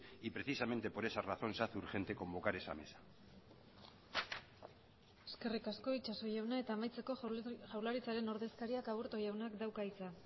y precisamente por esa razón se hace urgente convocar esa mesa eskerrik asko itxaso jauna amaitzeko jaurlaritzaren ordezkariak aburto jaunak dauka hitza